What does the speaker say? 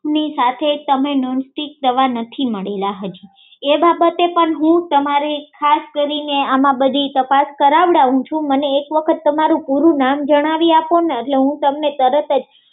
ની સાથે તમે નોન સ્ટીક તવા નથી મળેલા હજી એ બાબતે પણ તમારે ખાસ કરીને આમાં તપાસ કરાવડાવું છુ મને એક વખત તમારું પૂરું નામ જણાવી આપોને એટલે હું તમને તરત જ